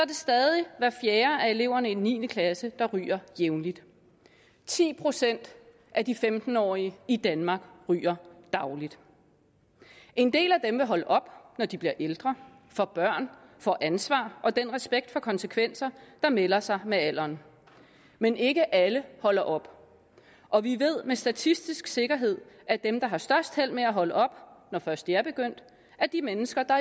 det stadig hver fjerde af eleverne i niende klasse der ryger jævnligt ti procent af de femten årige i danmark ryger dagligt en del af dem vil holde op når de bliver ældre får børn får ansvar og den respekt for konsekvenser der melder sig med alderen men ikke alle holder op og vi ved med statistisk sikkerhed at dem der har størst held med at holde op når først de er begyndt er de mennesker der